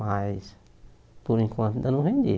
Mas, por enquanto, ainda não vendi.